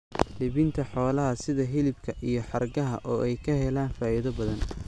Iibinta xoolaha sida hilibka iyo hargaha oo ay ka helaan faa'iido badan.